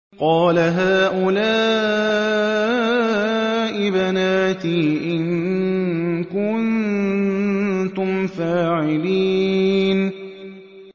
قَالَ هَٰؤُلَاءِ بَنَاتِي إِن كُنتُمْ فَاعِلِينَ